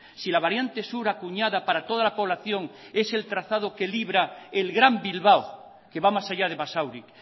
si la variante sur acuñada para toda la población es el trazado que libra el gran bilbao que va más allá de basauri